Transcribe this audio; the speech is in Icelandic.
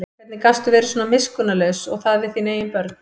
Hvernig gastu verið svona miskunnarlaus og það við þín eigin börn?